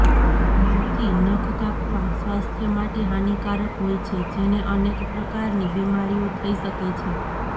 મોંથી નખ કાપવા સ્વાસ્થ્ય માટે હાનિકારક હોય છે જેને અનેક પ્રકારની બીમારીઓ થઇ શકે છે